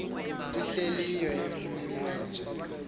ntw ihlileyo emininje